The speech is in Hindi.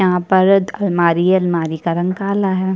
यहाँ पर अलमारी है अलमारी का रंग काला है।